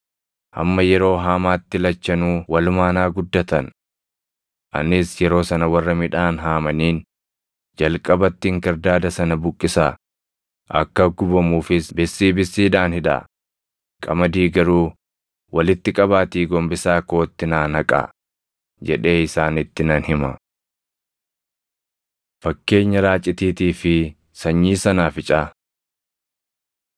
Hamma yeroo haamaatti lachanuu walumaan haa guddatan. Anis yeroo sana warra midhaan haamaniin, “Jalqabatti inkirdaada sana buqqisaa; akka gubamuufis bissii bissiidhaan hidhaa; qamadii garuu walitti qabaatii gombisaa kootti naa naqaa” jedhee isaanitti nan hima.’ ” Fakkeenya Raacitiitii fi Sanyii Sanaaficaa 13:31,32 kwf – Mar 4:30‑32 13:31‑33 kwf – Luq 13:18‑21